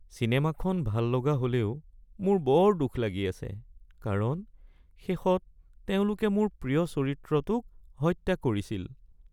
চিনেমাখন ভাল হ'লেও মোৰ বৰ দুখ লাগি আছে কাৰণ শেষত তেওঁলোকে মোৰ প্ৰিয় চৰিত্ৰটোক হত্যা কৰিছিল।